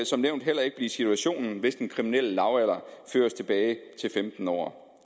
som nævnt heller ikke blive situationen hvis den kriminelle lavalder føres tilbage til femten år